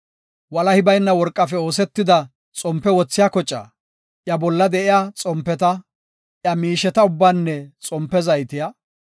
walahi bayna worqafe oosetida xompe wothiya kocaa, iya bolla de7iya xompeta, iya miisheta ubbaanne xompe zayte,